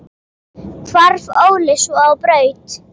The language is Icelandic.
Hvarf Óli svo á braut.